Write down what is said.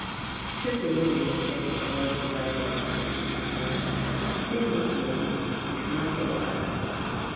people wey dey invest and no divide their money into different things fit lose money if market wahala start